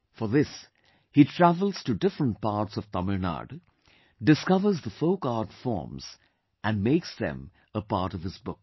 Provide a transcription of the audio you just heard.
For this, he travels to different parts of Tamil Nadu, discovers the folk art forms and makes them a part of his book